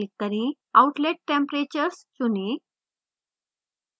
outlet temperatures चुनें